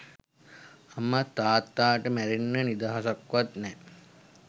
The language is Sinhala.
අම්මා තාත්තාට මැරෙන්න නිදහසක්වත් නෑ.